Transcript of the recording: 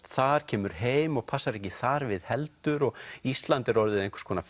þar kemur heim og passar ekki þar við heldur ísland er orðið einhvers konar